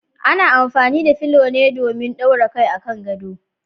Ana amfani da fulo ne domin daura kai a kan gado.